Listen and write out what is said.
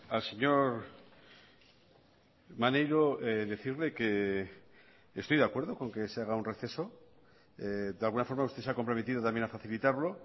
al señor maneiro decirle que estoy de acuerdo con que se haga un receso de alguna forma usted se ha comprometido también a facilitarlo